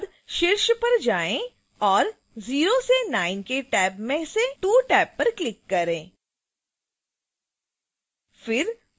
इसके बाद शीर्ष पर जाएँ और 0 से 9 के टैब में से 2 टैब पर click करें